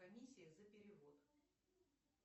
комиссия за перевод